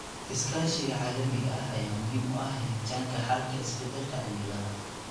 Iskaashiga caalamiga ah ayaa muhiim u ah helitaanka xalka isbedelka cimilada.